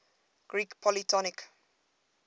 greek polytonic